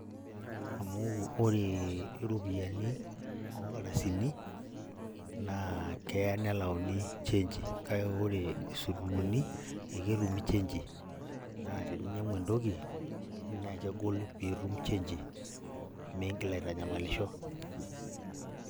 Amu ore iropiyiani onkadasini, naa kea nelauni chenji, kake ore isururuni, aketumi chenji. Naa teninyang'u entoki, na kegol pitum chenji. Miigil aitanyamalisho.